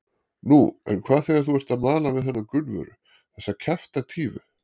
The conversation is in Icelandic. Nú, en hvað þegar þú ert að mala við hana Gunnvöru, þessa kjaftatífu?